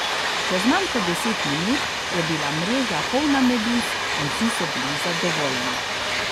Čez manj kot deset minut je bila mreža polna meduz in vsi so bili zadovoljni.